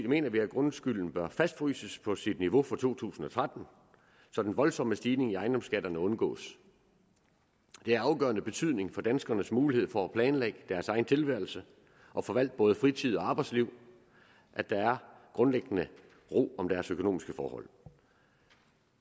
mener vi at grundskylden bør fastfryses på sit niveau for to tusind og tretten så den voldsomme stigning i ejendomsskatterne undgås det er af afgørende betydning for danskernes mulighed for at planlægge deres egen tilværelse og forvalte både fritid og arbejdsliv at der er grundlæggende ro om deres økonomiske forhold